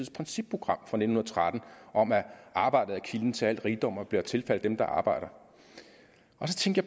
principprogram fra nitten tretten om at arbejdet er kilden til al rigdom og bør tilfalde dem der arbejder og så tænkte